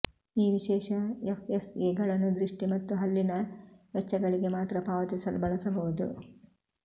ಈ ವಿಶೇಷ ಎಫ್ಎಸ್ಎಗಳನ್ನು ದೃಷ್ಟಿ ಮತ್ತು ಹಲ್ಲಿನ ವೆಚ್ಚಗಳಿಗೆ ಮಾತ್ರ ಪಾವತಿಸಲು ಬಳಸಬಹುದು